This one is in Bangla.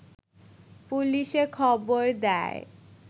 পুলিশে খবর দেয়